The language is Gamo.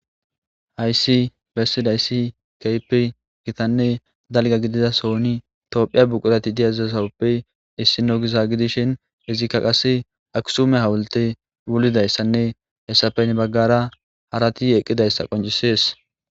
hayssi bessidayssi keypi gitanne dalga gidida sooni toophiya buqurati diyazzasawuppe issi no giza gidishin izikka qase aksume hawulte wulidayssanne hessapen baggara harati eqqidayssa qoncisees